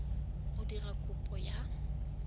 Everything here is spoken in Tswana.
o dirang kopo ya go